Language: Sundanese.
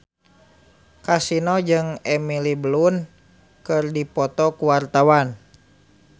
Kasino jeung Emily Blunt keur dipoto ku wartawan